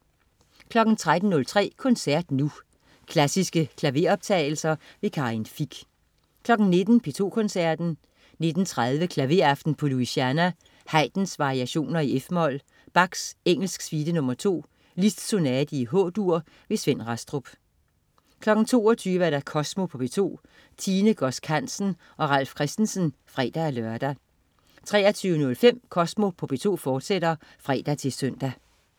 13.03 Koncert Nu. Klassiske koncertoptagelser. Karin Fich 19.00 P2 Koncerten. 19.30 Klaveraften på Louisiana. Haydn: Variationer, f-mol. Bach: Engelsk suite nr. 2. Liszt: Sonate, H-dur. Svend Rastrup 22.00 Kosmo på P2. Tine Godsk Hansen og Ralf Christensen (fre-lør) 23.05 Kosmo på P2, fortsat (fre-søn)